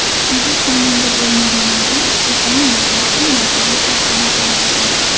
Agar xonanda bo‘lmaganimda, dizayner yoki modellik kasbini tanlardim.